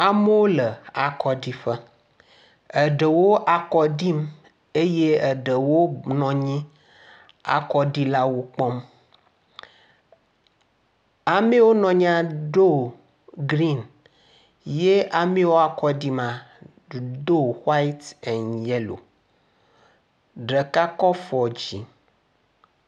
Amewo le akɔɖiƒe. Eɖewo akɔɖim eye ɖewo nɔ anyi le akɔɖilawo kpɔm. Ame yiwo nɔ anyi do griŋ eye ame yiwo akɔɖim la do wiat en yelo. Ɖeka kɔ afɔ dzi.